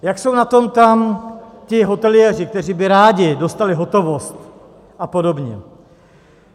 Jak jsou na tom tam ti hoteliéři, kteří by rádi dostali hotovost, a podobně.